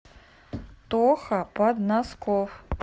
тоха подносков